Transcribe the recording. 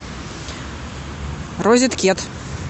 розеткед